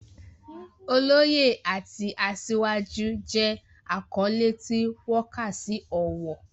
Oloye" àti "Asiwaju" jẹ́ àkọ́lé tí wọ́n kà sí ọ̀wọ̀.